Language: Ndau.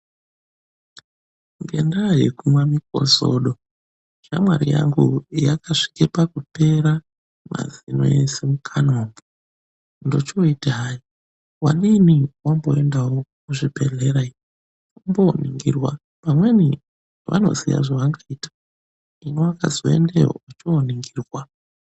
Ngendaa yekumwa mukozodo, shamwari yangu wakasvike pakupera mazino eshe mukanwa umwu. Ndochoiti wadini wamboendawo kuchibhedhlera umbooningirwa pamweni vangaziya zvevangaita. Hino wakazoendeyo ochooningirwa.